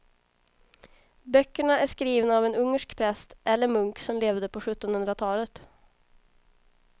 Böckerna är skrivna av en ungersk präst eller munk som levde på sjuttonhundratalet.